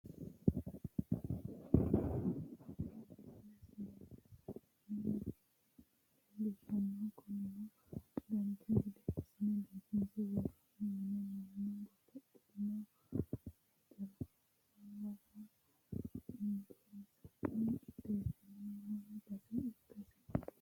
tini misile seesanna biinfille leellishshannote kunino dancha gede assine biifinse worroonni mine mannu babbaxxitino hajara hasaawara injeessine qixxeessinoonni base ikkase